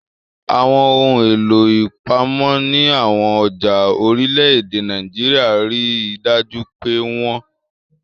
Àwọn ohun èlò ìpamọ́ ní àwọn ọjà orílẹ̀-èdè Nàìjíríà rí i dájú pé wọ́n ṣẹ̀ṣẹ̀